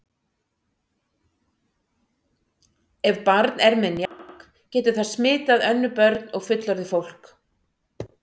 Ef barn er með njálg getur það smitað önnur börn og fullorðið fólk.